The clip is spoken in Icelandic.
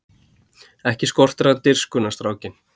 Ekki skortir hann dirfskuna strákinn!